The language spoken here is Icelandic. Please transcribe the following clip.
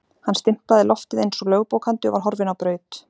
Hann stimplaði loftið eins og lögbókandi og var horfinn á braut.